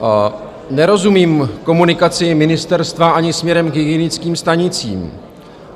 Nerozumím komunikaci ministerstva ani směrem k hygienickým stanicím.